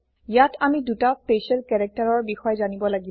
ইয়াত আমি ২টা স্পেচিয়েল কেৰেক্তাৰৰ বিষয়ে জানিব লাগিব